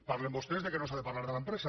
parlen vostès que no s’ha de parlar de l’empresa